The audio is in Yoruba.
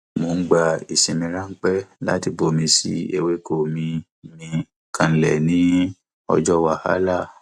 mo ń gba ìsinmi ráńpẹ láti bomi sí ewéko mi mí kanlẹ ní ọjọ wàhálà